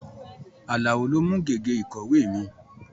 Àlàó lo mú gègé ìkọ̀wé mi